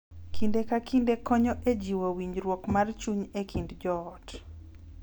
Kinde ka kinde konyo e jiwo winjruok mar chuny e kind joot.